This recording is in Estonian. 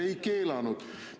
" Ei keelanud!